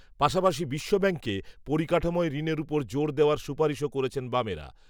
পাশাপাশি বিশ্বব্যাঙ্ককে, পরিকাঠামোয়, ঋণের উপর জোর দেওয়ার সুপারিশও করেছেন, বামেরা